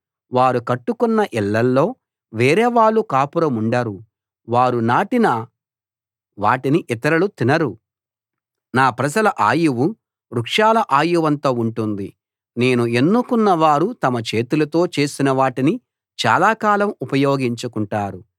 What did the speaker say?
వారు కట్టుకున్న ఇళ్ళల్లో వేరేవాళ్ళు కాపురముండరు వారు నాటిన వాటిని ఇతరులు తినరు నా ప్రజల ఆయువు వృక్షాల ఆయువంత ఉంటుంది నేను ఎన్నుకున్నవారు తాము చేతులతో చేసిన వాటిని చాలాకాలం ఉపయోగించుకుంటారు